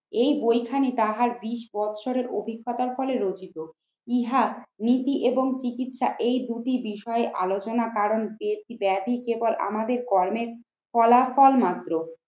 এই বইখানি তাহার বিশ বছরের অভিজ্ঞতার ফলে রচিত। ইহার নীতি এবং চিকিৎসা এই দুটি বিষয়ে আলোচনা কারণ ব্যাধি কেবল আমাদের কর্মের ফলাফল মাত্র